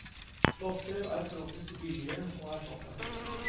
Plastdrev er forholdsvis billige å erstatte.